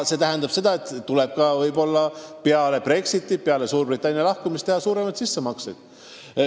See tähendab seda, et võib-olla peale Brexitit, peale Suurbritannia lahkumist tuleb teha suuremaid sissemakseid.